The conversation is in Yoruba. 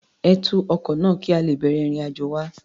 Ẹ tú ọkọ náà, kí a lè bẹ̀rẹ̀ ìrìn-àjò wa.